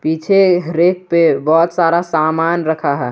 पीछे रैक पे बहुत सारा सामान रखा है।